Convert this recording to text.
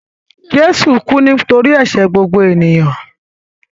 Jésù kú nítorí ẹ̀ṣẹ̀ gbogbo ènìyàn.